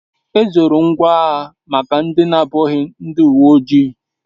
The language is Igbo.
Ezoro ngwa agha maka ndi abughi ndi uwe oji